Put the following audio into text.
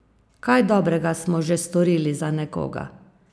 Kaj dobrega smo že storili za nekoga?